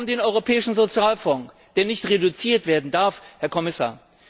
Wir haben den Europäischen Sozialfonds, der nicht reduziert werden darf, Herr Kommissar!